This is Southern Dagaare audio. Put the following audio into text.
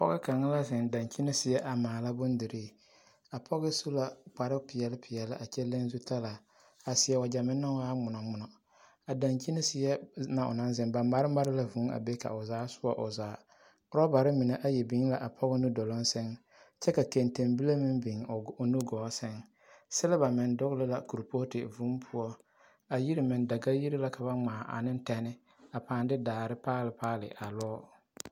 pɔge kaŋa la zeŋ daŋkyini seɛ maala bondirii a pɔge su la kparre peɛl peɛl kyɛ leŋ zu talaa a seɛ wagyɛ meŋ naŋ waa ŋmonoŋmono a daŋkyini seɛ na o naŋ zeŋ ba mare mare la vuu a be ka o zaa soɔ o zaa ɔrɔbare mine ayi beŋ la a pɔge nuduloŋ seŋ kyɛ ka kɛŋteŋ bile meŋ beŋ o nugɔɔ seŋ selba meŋ dogli la korepoote vuu poɔ a yiri meŋ daga-yiri la kaba ŋmaa ane tɛne a paaŋ de daare paali paali a lɔɔ.